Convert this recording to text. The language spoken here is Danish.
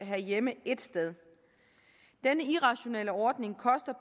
have hjemme et sted denne irrationelle ordning koster